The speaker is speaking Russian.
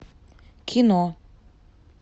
кино